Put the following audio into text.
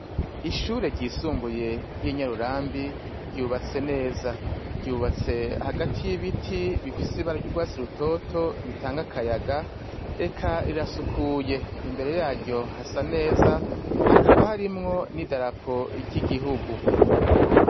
Ishure ryisumbuye ry'i Nyarurambi ryubatse neza. Ryubatse hagati y'ibiti bifise ibara ry'urwatsi rutoto bitanga akayaga. Eka rirasukuye, imbere yaryo hasa neza hakaba harimwo n'idarapo ry'igihugu.